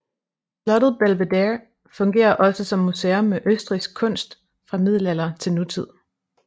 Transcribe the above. Slottet Belvedere fungerer også som museum med østrigsk kunst fra middelalder til nutid